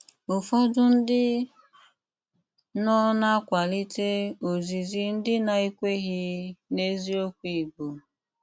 Úfọdụ́ ndí nọ́ ná-àkwálítè ózízí ndí ná-ékwèghí n’ézíòkwù Ìgbò